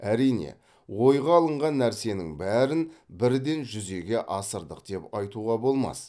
әрине ойға алынған нәрсенің бәрін бірден жүзеге асырдық деп айтуға болмас